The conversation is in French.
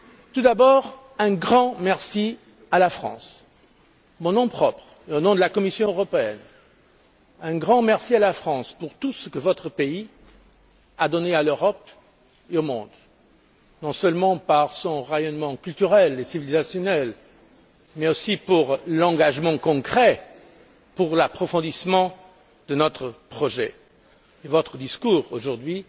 Tout d'abord, un grand merci à la France, en mon nom propre et au nom de la Commission européenne, un grand merci à la France pour tout ce que votre pays a donné à l'Europe et au monde, non seulement par son rayonnement culturel et civilisationnel, mais aussi pour son engagement concret en faveur de l'approfondissement de notre projet. Votre discours, aujourd'hui,